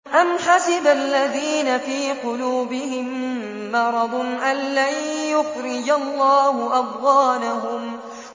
أَمْ حَسِبَ الَّذِينَ فِي قُلُوبِهِم مَّرَضٌ أَن لَّن يُخْرِجَ اللَّهُ أَضْغَانَهُمْ